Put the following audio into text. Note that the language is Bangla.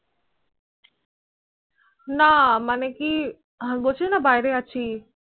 না মানে কি, হম বলছিলে না বাইরে আছি।